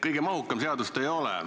Kõige mahukam see seadus ei ole.